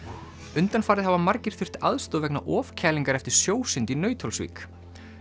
undanfarið hafa margir þurft aðstoð vegna ofkælingar eftir sjósund í Nauthólsvík